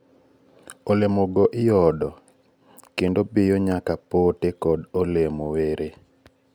olemo go iodo kendo biyo nyaka pote kod olemo were